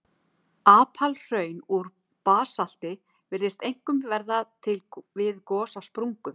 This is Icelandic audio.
Apalhraun úr basalti virðast einkum verða til við gos á sprungum.